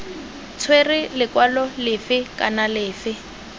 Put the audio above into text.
tshwera lekwalo lefe kana lefe